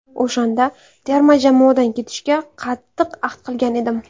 O‘shanda terma jamoadan ketishga qattiq ahd qilgan edim.